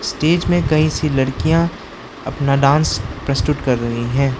Stage में कई सी लड़कियां अपना डांस प्रस्तुत कर रही है।